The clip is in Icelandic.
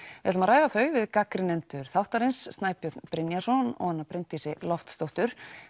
við ætlum að ræða þau við gagnrýnendur þáttarins Snæbjörn Brynjarsson og Bryndísi Loftsdóttur